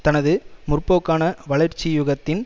தனது முற்போக்கான வளர்ச்சியுகத்தின்